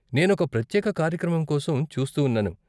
నేను ఒక ప్రత్యేక కార్యక్రమం కోసం చూస్తూ ఉన్నాను.